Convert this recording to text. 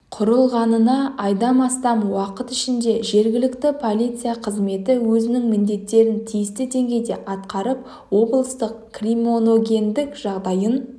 -құрылғанына айдан астам уақыт ішінде жергілікті полиция қызметі өзінің міндеттерін тиісті деңгейде атқарып облыстың криминогендік жағдайын